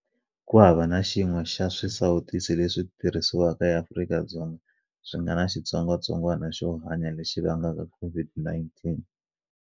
Ku hava na xin'we xa swisawutisi leswi tirhisiwaka eAfrika-Dzonga swi nga na xitsongwatsongwana xo hanya lexi vangaka COVID-19.